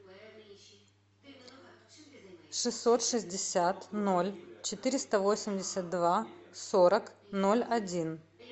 шестьсот шестьдесят ноль четыреста восемьдесят два сорок ноль один